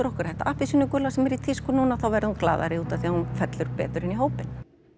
okkar þetta appelsínugula sem er í tísku núna þá verði hún glaðari út af því að hún fellur betur inn í hópinn